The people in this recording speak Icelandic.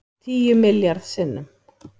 Tíu milljarð sinnum